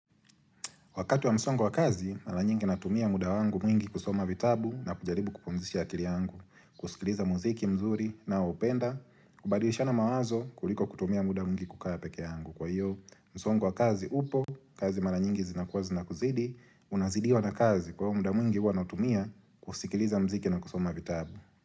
Wakati wa msongo wa kazi, mara nyingi natumia muda wangu mwingi kusoma vitabu na kujaribu kupumzisha akili yangu, kusikiliza muziki mzuri naoupenda, kubadilishana mawazo kuliko kutumia muda mwingi kukaa peke yangu. Kwa hiyo, msongo wa kazi upo, kazi mara nyingi zinakuwa zinakuzidi, unazidiwa na kazi kwa hiyo muda mwingi huwa nautumia kusikiliza mziki na kusoma vitabu.